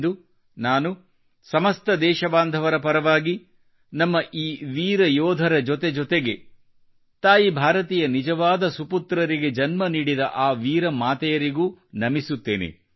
ಇಂದು ನಾನು ಸಮಸ್ತ ದೇಶಬಾಂಧವರ ಪರವಾಗಿ ನಮ್ಮ ಈ ವೀರ ಯೋಧರ ಜೊತೆ ಜೊತೆಗೆ ತಾಯಿ ಭಾರತಿಯ ನಿಜವಾದ ಸುಪುತ್ರರಿಗೆ ಜನ್ಮ ನೀಡಿದ ಆ ವೀರ ಮಾತೆಯರಿಗೂ ನಮಿಸುತ್ತೇನೆ